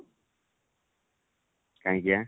କାହିଁକି ବା?